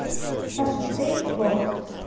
саша ты лох